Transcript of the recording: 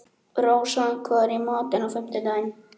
Rósa, hvað er í matinn á fimmtudaginn?